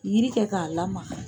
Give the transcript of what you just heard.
yiri kɛ k'a lamaga